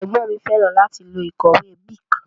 Ègbón mi féràn láti lo ìkòwé Bic